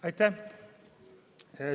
Aitäh!